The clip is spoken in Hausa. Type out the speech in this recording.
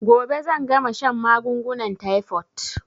Gobe zan gama shan magungunan taifot